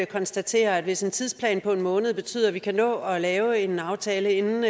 konstatere at hvis en tidsplan på en måned betyder at vi kan nå at lave en aftale inden